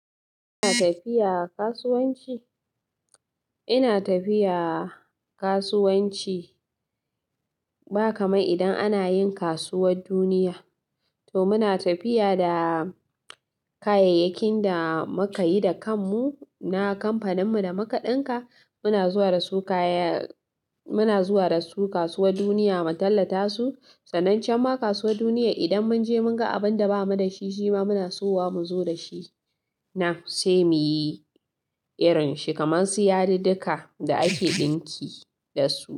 Ina tafiya kasuwanci. Ina tafiya kasuwanci. Ba kamar idan ana yin kasuwar duniya, to muna tafiya da kayayyakin da muka yi da kanmu na kamfaninmu da muka ɗinka. Muna zuwa da su kasuwar duniya mu tallata su. Sanan cam ma kasuwar duniya idan mun je mun ga abin da ba mu da shi, shi ma muna siyo wa mu zo da shi nan sai muyi irinshi kamar su yadudduka da ake ɗinki da su.